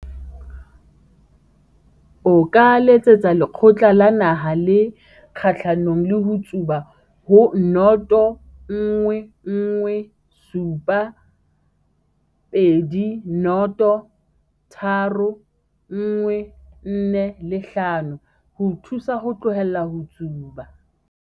O ka letsetsa Lekgotla la Naha le Kgahlanong le ho Tsuba ho 011 720 3145 ho o thusa ho tlohela ho tsuba.